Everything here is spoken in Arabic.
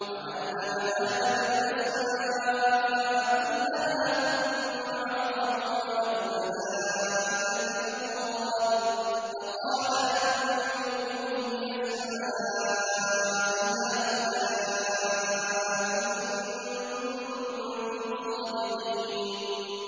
وَعَلَّمَ آدَمَ الْأَسْمَاءَ كُلَّهَا ثُمَّ عَرَضَهُمْ عَلَى الْمَلَائِكَةِ فَقَالَ أَنبِئُونِي بِأَسْمَاءِ هَٰؤُلَاءِ إِن كُنتُمْ صَادِقِينَ